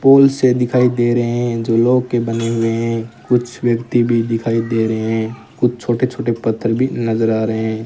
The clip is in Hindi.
पूल से दिखाई दे रहे हैं जो लोह के बने हुए हैं कुछ व्यक्ति भी दिखाई दे रहे हैं कुछ छोटे छोटे पत्थर भी नजर आ रहे --